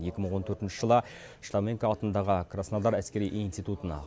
екі мың он төртінші жылы штаменко атындағы краснодар әскери институтын